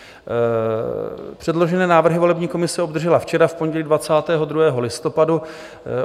Předložené návrhy volební komise obdržela včera, v pondělí 22. listopadu.